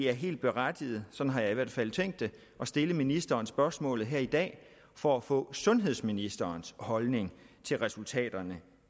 er helt berettiget sådan har jeg i hvert fald tænkt det at stille ministeren spørgsmålet her i dag for at få sundhedsministerens holdning til resultaterne